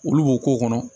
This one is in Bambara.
Olu b'o k'o kɔnɔ